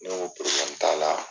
Ne ko t'a la.